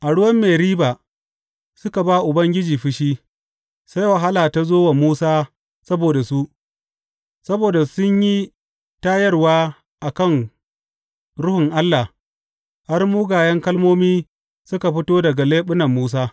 A ruwan Meriba suka ba Ubangiji fushi, sai wahala ta zo wa Musa saboda su; saboda sun yi tayarwa a kan Ruhun Allah, har mugayen kalmomi suka fito daga leɓunan Musa.